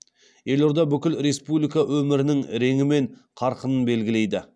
елорда бүкіл республика өмірінің реңі мен қарқынын белгілейді